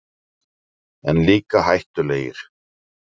En líka hættulegir.